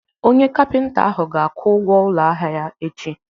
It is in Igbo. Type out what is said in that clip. Onye kapịnta ahụ ga-akwụ ụgwọ ụlọ ahịa ya echi.